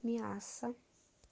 миасса